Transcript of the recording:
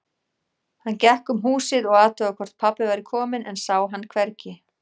Hann gekk um húsið og athugaði hvort pabbi væri kominn, en sá hann hvergi.